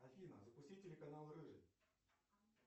афина запусти телеканал рыжий